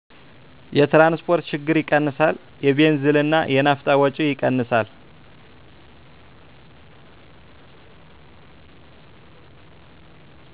የትራንስፖርት ችግር ይቀንሳል። የቤንዚልና የናፍጣ ወጪ ይቀንሳል።